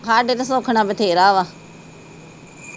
ਹਾਡੇ ਤੇ ਸੁਖ ਨਾ ਬਥੇਰਾ ਵਾ